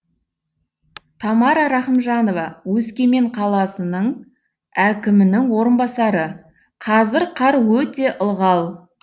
тамара рахымжанова өскемен қаласының әкімінің орынбасары қазір қар өте ылғал